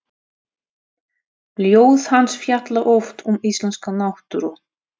Ljóð hans fjalla oft um íslenska náttúru.